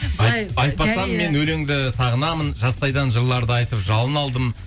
айтпасам мен өлеңді сағынамын жастайдан жырларды айтып жалын алдым